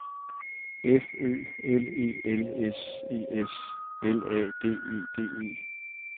F Ø L E L S E S L A D E D E